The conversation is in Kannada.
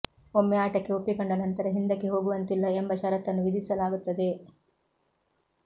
ಒಮ್ಮೆ ಆಟಕ್ಕೆ ಒಪ್ಪಿಕೊಂಡ ನಂತರ ಹಿಂದಕ್ಕೆ ಹೋಗುವಂತಿಲ್ಲ ಎಂಬ ಷರತ್ತನ್ನು ವಿಧಿಸಲಾಗುತ್ತದೆ